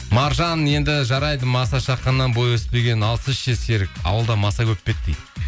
маржан енді жарайды маса шаққаннан бойы өспеген ал сіз ше серік ауылда маса көп пе еді дейді